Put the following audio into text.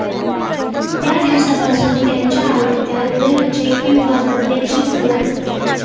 त्या दिवसापासून त्याच्या आवडत्या हृदयाचे किंवा बदल्याची सुरुवात होते